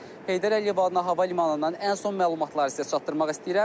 Amma mən Heydər Əliyev adına hava limanından ən son məlumatları sizə çatdırmaq istəyirəm.